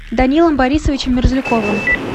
данилом борисовичем мерзляковым